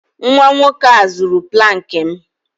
Nwa nwoke a zuru plank m